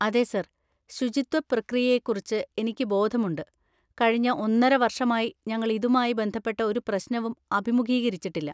അതെ സർ, ശുചിത്വ പ്രക്രിയയെക്കുറിച്ച് എനിക്ക് ബോധമുണ്ട്, കഴിഞ്ഞ ഒന്നര വർഷമായി ഞങ്ങൾ ഇതുമായി ബന്ധപ്പെട്ട ഒരു പ്രശ്‌നവും അഭിമുഖീകരിച്ചിട്ടില്ല.